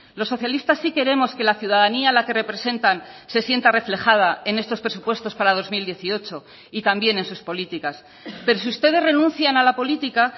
los socialistas sí queremos que la ciudadanía a la que representan se sienta reflejada en estos presupuestos para dos mil dieciocho y también en sus políticas pero si ustedes renuncian a la política